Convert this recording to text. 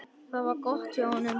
Það var gott hjá honum.